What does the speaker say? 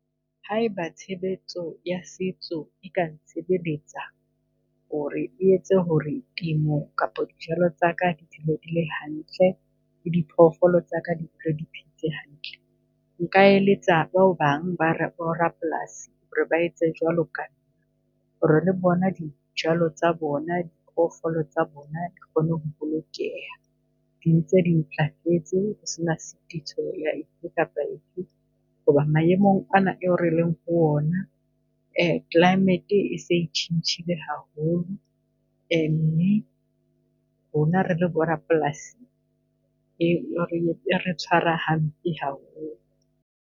Haeba tshebetso ya setso e ka ntshebeletsa hore e etse hore temo kapa dijalo tsaka di di le hantle le di phoofolo tsaka di di phetse hantle. Nka eletsa ba bang bo rapolasi hore ba etse jwalo ka nna, hore le bona dijalo tsa bona, diphoofolo tsa bona, di kgone ho bolokeha. Dintse di ntlafetse ho sena sitiso ya efe kapa efe, hoba maemong ana eo releng ho ona, climate-e e se e tjhentjhile haholo. Uh mme rona re le bo rapolasi e re tshwara hampe ha holo.